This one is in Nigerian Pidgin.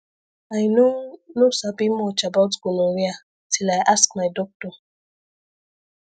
i no no sabi much about gonorrhea till i ask my doctor